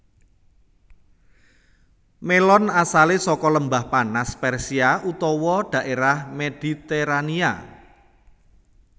Mélon asalé saka Lembah Panas Persia utawa dhaérah Mediterania